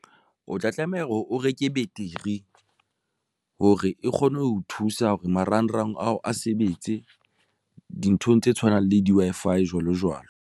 O tla tlameha hore o reke beteri hore e kgone ho thusa hore marangrang ao a sebetse dinthong tse tshwanang le di-Wi-Fi jwalo jwalo.